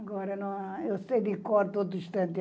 Agora, eu sei de cor todo instante.